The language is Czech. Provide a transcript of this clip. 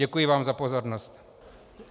Děkuji vám za pozornost.